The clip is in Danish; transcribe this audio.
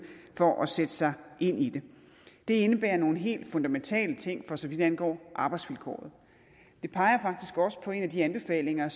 for at sætte sig ind i det det indebærer nogle helt fundamentale ting for så vidt angår arbejdsvilkåret det peger faktisk også på en af de anbefalinger